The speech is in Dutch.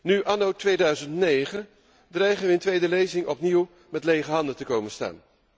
Nu, anno 2009, dreigen wij in tweede lezing opnieuw met lege handen komen te staan.